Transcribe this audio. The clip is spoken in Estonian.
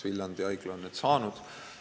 Viljandi Haigla on need saanud.